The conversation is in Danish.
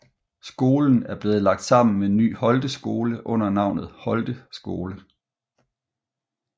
Skolen er blevet lagt sammen med Ny Holte Skole under navnet Holte Skole